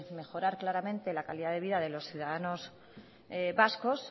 mejorar claramente la calidad de vida de los ciudadanos vascos